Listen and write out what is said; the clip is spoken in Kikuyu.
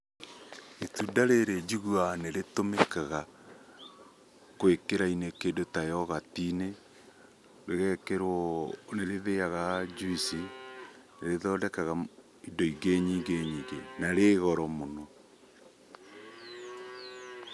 Itunda rĩrĩ njiguaga nĩ rĩtũmĩkaga gwĩkĩrainĩ kĩndũ ta yogati-inĩ, rĩgekĩrwo nĩ rĩthĩaga njuici, nĩ rĩthondekaga indo ingĩ nyingĩ nyingĩ na rĩ goro mũno.